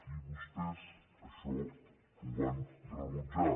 i vostès això ho van rebutjar